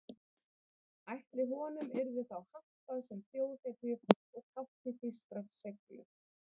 Ætli honum yrði þá hampað sem þjóðhetju og tákni þýskrar seiglu?